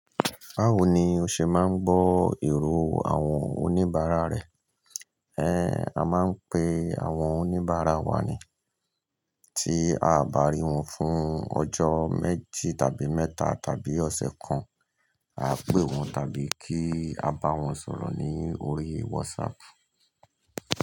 Báwo ni o ṣe máa ń gbọ́ èrò àwọn oníbàárà rẹ? A máa ń pe àwọn oníbàárà wa ni, tí a ò bá rí wọn fún ọjọ́ méjì tàbí mẹ́ta tàbí ọ̀sẹ̀ kan, a pè wọ́n tàbí kí a bá wọn sọ̀rọ̀ ní orí WhatsApp.